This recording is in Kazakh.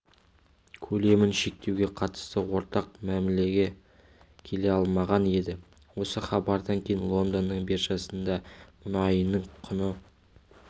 көлемін шектеуге қатысты ортақ мәмілеге келе алмаған еді осы хабардан кейін лондонның биржасында мұнайының құны